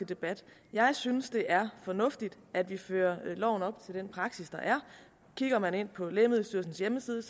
debat jeg synes det er fornuftigt at vi fører loven op til den praksis der er klikker man ind på lægemiddelstyrelsens hjemmeside